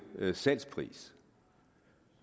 salgspris